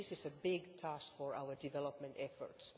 This is a big task for our development efforts.